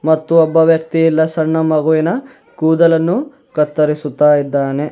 ಮತ್ತು ಒಬ್ಬ ವ್ಯಕ್ತಿ ಇಲ್ಲ ಸಣ್ಣ ಮಗುವಿನ ಕೂದಲನ್ನು ಕತ್ತರಿಸುತ್ತಾ ಇದ್ದಾನೆ.